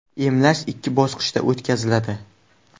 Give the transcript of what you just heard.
Emlash ikki bosqichda o‘tkaziladi.